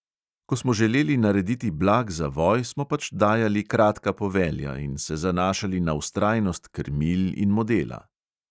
Ko smo želeli narediti blag zavoj, smo pač dajali kratka povelja in se zanašali na vztrajnost krmil in modela.